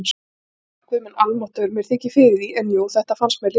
Guð minn almáttugur, mér þykir fyrir því, en jú, þetta fannst mér líka